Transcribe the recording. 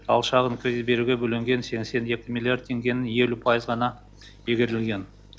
ал шағын кредит беруге бөлінген сексен екі миллиард теңгенің елу пайызы ғана игерілген